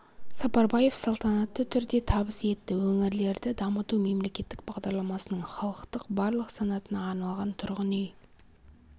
сапарбаев салтанатты түрде табыс етті өңірлерді дамыту мемлекеттік бағдарламасының халықтың барлық санатына арналған тұрғын үй